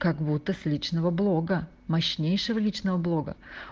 как будто с личного блога мощнейшего личного блога